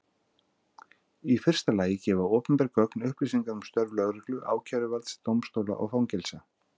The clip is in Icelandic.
Í fyrsta lagi gefa opinber gögn upplýsingar um störf lögreglu, ákæruvalds, dómstóla og fangelsa.